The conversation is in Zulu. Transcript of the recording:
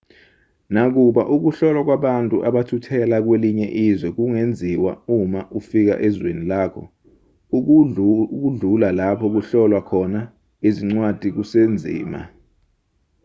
nakuba ukuhlolwa kwabantu abathuthela kwelinye izwe kungenziwa uma ufika ezweni lakho ukudlula lapho kuhlolwa khona izincwadi kusenzima